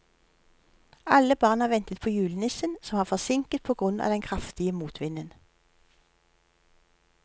Alle barna ventet på julenissen, som var forsinket på grunn av den kraftige motvinden.